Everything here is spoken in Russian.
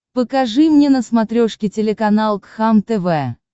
покажи мне на смотрешке телеканал кхлм тв